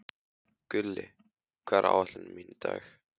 Gulli, hvað er á áætluninni minni í dag?